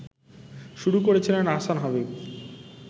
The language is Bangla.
শুরু করেছিলেন আহসান হাবীব